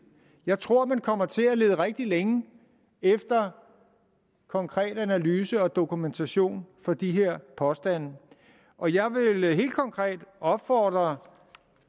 jeg tror man kommer til at lede rigtig længe efter konkret analyse og dokumentation for de her påstande og jeg vil helt konkret opfordre